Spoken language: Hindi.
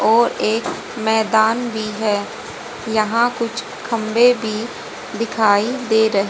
और एक मैदान भी है। यहां कुछ खंबे भी दिखाई दे रहे--